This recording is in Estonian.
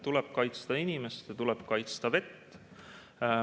Tuleb kaitsta inimest ja tuleb kaitsta vett.